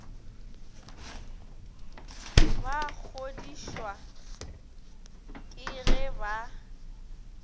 ba kgodišwa ke ge ba